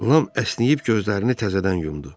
Lam əsnəyib gözlərini təzədən yumdu.